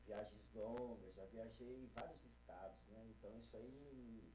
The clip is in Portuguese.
Viagens longas, já viajei em vários estados, né? Então isso aí